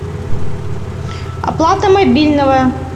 оплата мобильного